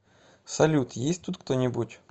салют есть тут кто нибудь